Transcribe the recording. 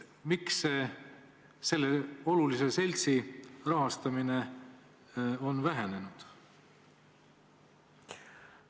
Miks on selle olulise seltsi rahastamine vähenenud?